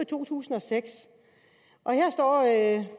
to tusind og seks